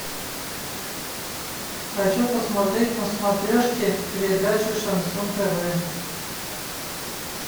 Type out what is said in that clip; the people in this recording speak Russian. хочу посмотреть на смотрешке передачу шансон тв